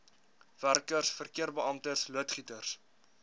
werkers verkeerbeamptes loodgieters